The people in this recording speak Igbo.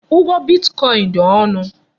Ụgwọ bitkọin dị ọnụ.